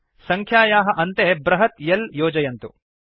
सङ्ख्यायाः अन्ते बृहत् L योजयन्तु